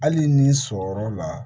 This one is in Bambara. Hali ni sɔrɔyɔrɔ la